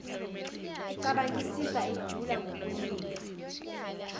ecabangisisa ejula ngokuninga